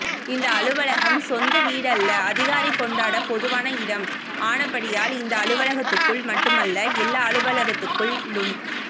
இந்த அலுவலகம் சொந்த வீடல்ல அதிகாரி கொண்டாட பொதுவான இடம் ஆனபடியால் இந்த அலுவலகத்துக்குள் மட்டுமல்ல எல்லா அலுவலகத்துக்குள்ளும்